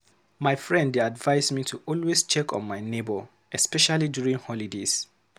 My friend dey advise me to always check on my neighbor, especially during holidays.